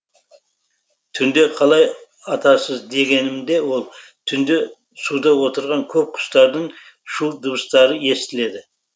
түнде қалай атасыз дегенімде ол түнде суда отырған көп құстардың шу дыбыстары естіледі